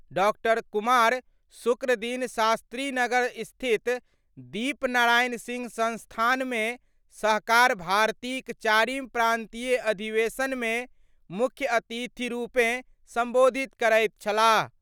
डॉ. कुमार शुक्र दिन शास्त्रीनगर स्थित दीप नारायण सिंह संस्थान मे सहकार भारती क चारिम प्रांतीय अधिवेशन मे मुख्य अतिथि रुपें संबोधित करैत छलाह।